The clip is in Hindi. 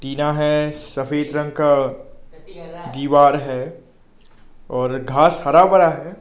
टीना है सफेद रंग का दीवार है और घास हरा भरा है।